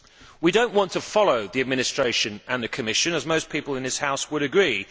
We do not want to follow the Administration and the Commission, as most people in this House would agree.